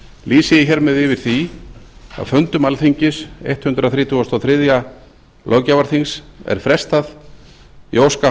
lýsi ég hér með yfir því að fundum alþingis hundrað þrítugasta og þriðja löggjafarþings er frestað ég óska